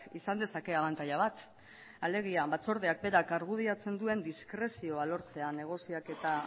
izan dezake abantaila bat alegia batzordeak berak argudiatzen duen diskrezioa lortzea negoziaketa